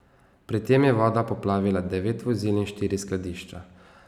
Pri tem je voda poplavila devet vozil in štiri skladišča.